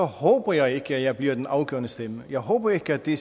håber jeg ikke at jeg bliver den afgørende stemme jeg håber ikke at det